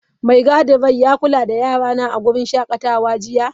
Mai gadin rai ya kula da Yarana a wurin shakatawa jiya?